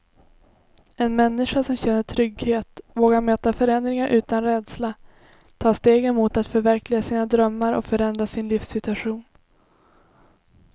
En människa som känner trygghet vågar möta förändringar utan rädsla, ta stegen mot att förverkliga sina drömmar och förändra sin livssituation.